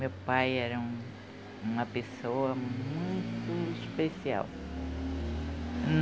Meu pai era uma pessoa muito especial.